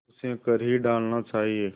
उसे कर ही डालना चाहिए